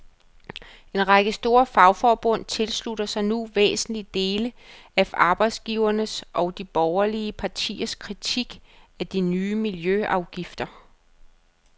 En række store fagforbund tilslutter sig nu væsentlige dele af arbejdsgivernes og de borgerlige partiers kritik af de nye miljøafgifter.